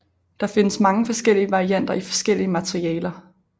Der findes mange forskellige varianter i forskellige materialer